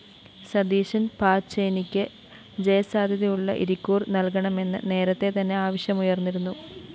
സതീശന്‍ പാച്ചേനിക്ക് ജയസാധ്യതയുള്ള ഇരിക്കൂര്‍ നല്‍കണമെന്ന് നേരത്തെ തന്നെ ആവശ്യമുയര്‍ന്നിരുന്നു